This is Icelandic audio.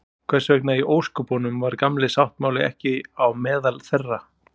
Hvers vegna í ósköpunum var Gamli sáttmáli ekki á meðal þeirra?